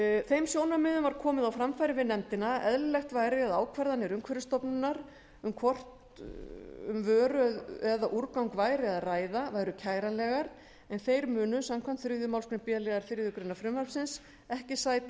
þeim sjónarmiðum var komið á framfæri við nefndina að eðlilegt væri að ákvarðanir umhverfisstofnunar um hvort um vöru eða úrgang væri að ræða væru kæranlegar en þær munu samkvæmt þriðju málsgrein b liðar þriðju greinar frumvarpsins ekki sæta